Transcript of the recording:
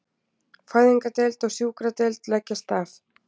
Fæðingardeild og sjúkradeild leggjast af